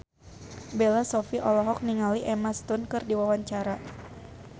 Bella Shofie olohok ningali Emma Stone keur diwawancara